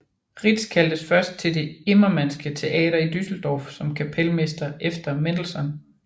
Rietz kaldtes først til det Immermannske Teater i Düsseldorf som kapelmester efter Mendelssohn